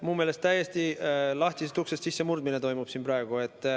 Minu meelest toimub siin praegu täiesti lahtisest uksest sissemurdmine.